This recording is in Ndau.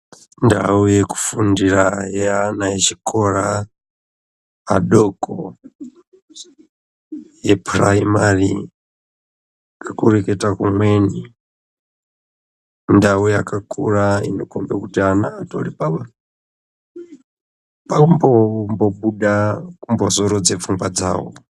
Ndau yekufundira yeana echikora adoko yepuraimari ngekureketa kumweni indau yakakura inokhombe kuti ana atori pakumbobuda kumbozorodze pfungwa dzawo.